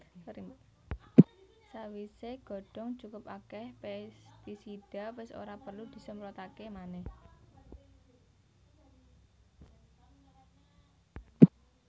Sawisé godhong cukup akèh pèstisida wis ora perlu disemprotaké manèh